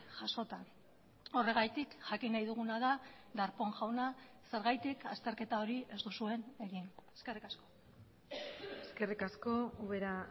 jasota horregatik jakin nahi duguna da darpón jauna zergatik azterketa hori ez duzuen egin eskerrik asko eskerrik asko ubera